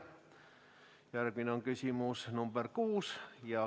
Järgmine on küsimus number 6.